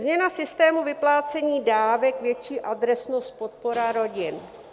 Změna systému vyplácení dávek, větší adresnost, podpora rodin.